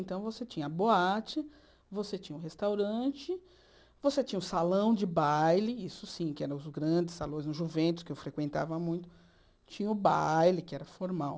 Então, você tinha a boate, você tinha o restaurante, você tinha o salão de baile, isso sim, que eram os grandes salões, os juventos, que eu frequentava muito, tinha o baile, que era formal.